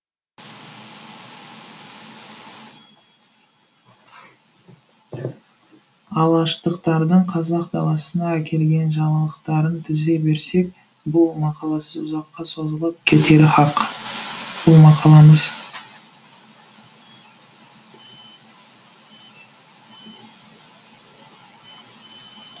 алаштықтардың қазақ даласына әкелген жаңалықтарын тізе берсек бұл мақаласы ұзаққа созылып кетері хақ бұл мақаламыз